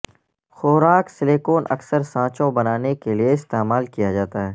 خوراک سلیکون اکثر سانچوں بنانے کے لئے استعمال کیا جاتا ہے